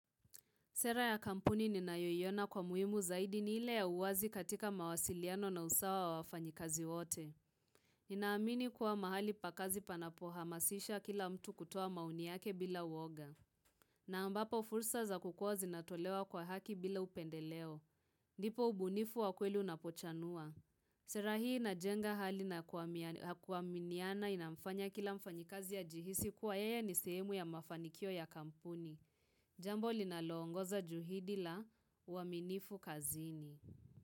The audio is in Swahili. Sera ya kampuni ninayoiona kwa muimu zaidi ni ile ya uwazi katika mawasiliano na usawa wa wafanyikazi wote. Ninaamini kuwa mahali pa kazi panapohamasisha kila mtu kutoa maoni yake bila uoga. Na ambapo fursa za kukua zinatolewa kwa haki bila upendeleo. Ndipo ubunifu wa kweli unapochanua. Sera hii inajenga hali na kuaminiana inafanya kila mfanyikazi ya jihisi kuwa yeye ni sehemu ya mafanikio ya kampuni. Jambo linaloongoza juhidi la uaminifu kazini.